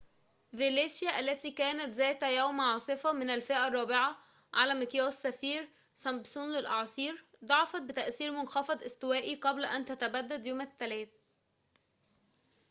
فيليشيا التي كانت ذات يوم عاصفة من الفئة الرابعة على مقياس سفير-سمبسون للأعاصير ضعفت بتأثير منخفض استوائي قبل أن تتبدد يوم الثلاثاء